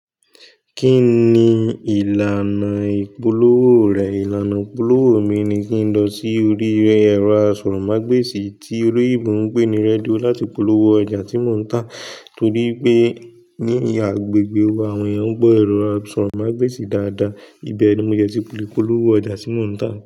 Kí ni ìlànà ìpolówó rẹ̀? Ìlànà ìpolówó mi ni kí n lọ sí orí ẹ̀rọ asọ̀rọ̀mágbèsì tí olóyìnbó ń pè ní radio láti polówó oja tí mò ń tà torí pé ní ìhà agbègbè wa àwọn ènìyàn ń gbọ́ ẹ̀rọ asọ̀rọ̀mágbèsì dáadáa. Íbẹ̀ ni mo dè tí lè polówó ojà tí mò ń tà.